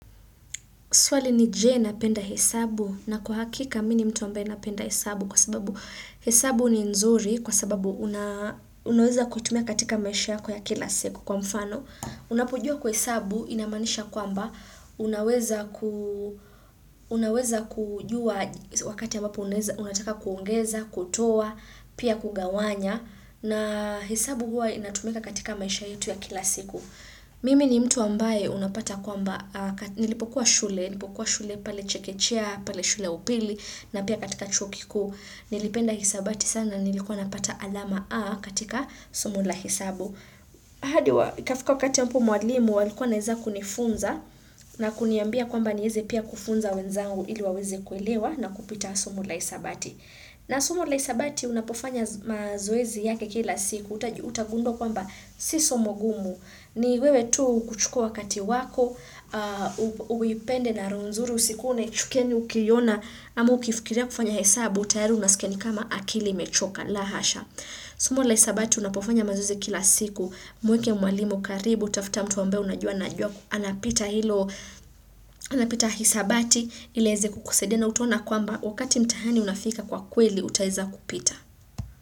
Swali ni je na penda hesabu na kwa hakika mini mtu ambaye napenda hesabu kwa sababu hesabu ni nzuri kwa sababu unaweza kuitumia katika maisha yako ya kila siku. Kwa mfano, unapojua kuhesabu, inamaanisha kwamba, unaweza kujua wakati ambapo unataka kuongeza, kutoa, pia kugawanya na hesabu huwa inatumia katika maisha yetu ya kila siku. Mimi ni mtu ambaye unapata kwamba nilipokuwa shule pale chekechea, pale shule upili na pia katika chuo kikuu nilipenda hisabati sana nilikuwa napata alama A katika somo la hesabu. iKafika wakati mpo mwalimu alikuwa naeza kunifunza na kuniambia kwamba nieze pia kufunza wenzangu ili waweze kuelewa na kupita somo la hisabati. Na somo la isabati unapofanya mazoezi yake kila siku, utagundua kwamba sisomo gumu, ni wewe tu kuchukua wakati wako, uipende na roho nzuri usikuwe, unaichukia ukiina, ama ukifikiria kufanya hesabu, tayari unasikia ni kama akili imechoka, la hasha. Somo la isabati unapofanya mazoezi kila siku Mueke mwalimu karibu tafuta mtu ambaye unajua na ajua Anapita hilo Anapita isabati ili aeze kukusaidia na utaona kwamba Wakati mtihani unafika kwa kweli Utaeza kupita.